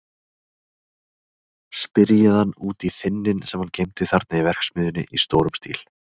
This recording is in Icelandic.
Spyrjið hann út í þynninn sem hann geymdi þarna í verksmiðjunni í stórum stíl.